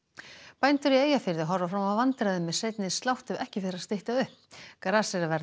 bændur í Eyjafirði horfa fram á vandræði með seinni slátt ef ekki fer að stytta upp gras er að verða